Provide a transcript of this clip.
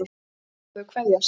segir hún og þau kveðjast.